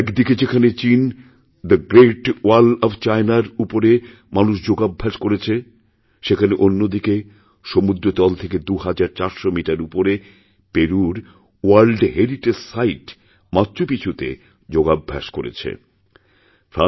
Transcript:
একদিকে যেখানে চীনে দ্য গ্রেট ওয়াল অফ চায়নার উপরে মানুষযোগাভ্যাস করেছে সেখানে অন্যদিকে সমুদ্রতল থেকে দু হাজার চারশো মিটার উপরে পেরুর ওয়ার্ল্ডহেরিটেজ সাইট মাচ্চুপিছুতে যোগাভ্যাস করেছে মানুষ